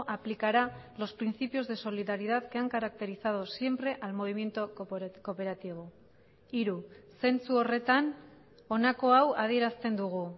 aplicará los principios de solidaridad que han caracterizado siempre al movimiento cooperativo hiru zentzu horretan honako hau adierazten dugu